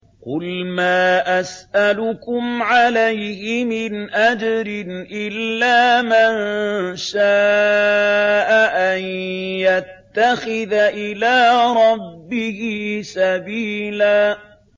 قُلْ مَا أَسْأَلُكُمْ عَلَيْهِ مِنْ أَجْرٍ إِلَّا مَن شَاءَ أَن يَتَّخِذَ إِلَىٰ رَبِّهِ سَبِيلًا